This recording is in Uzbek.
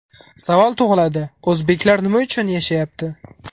Savol tug‘iladi o‘zbeklar nima uchun yashayapti?